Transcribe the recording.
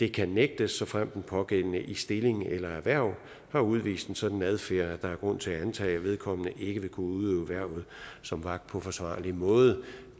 kan nægtes såfremt den pågældende i stilling eller erhverv har udvist en sådan adfærd at der er grund til at antage at vedkommende ikke vil kunne udøve hvervet som vagt på forsvarlig måde